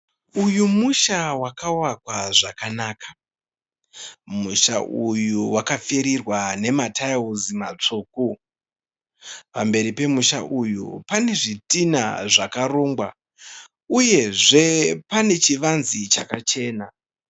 Uyu musha wakavakwa zvakanaka. Musha uyu wakapfirigwa nematiles matsvuku. Pamberi pemusha uyu pane zvitinha zvakarongwa uyezve pane chivanze chakachena.